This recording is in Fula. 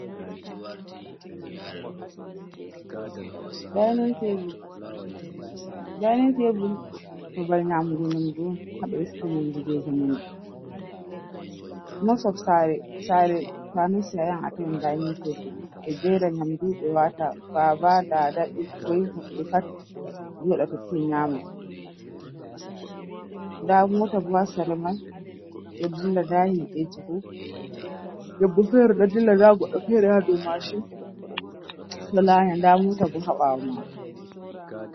Daynin teebul, Daynin teebul babal nyamugu nyamndu haa ɓe resata yamndu jey zamanu mos of saare, saare to a nasti a yaha tawan Daynin teebul ɓe jeera nyamndu ɓe waata baaba, daada, ɓokkoy e hoɓɓe pat jooɗa totton nyaama, ndaa moota bo haa sera mai ɗo dilla, ndaa himɓeeji, debbo feere ɗo dilla, ndaa goɗɗo feere dow maashin ɗo laanya ndaa moota bo haa ɓaawo maako.